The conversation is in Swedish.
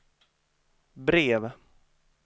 brev